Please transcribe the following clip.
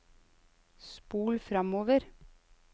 spol framover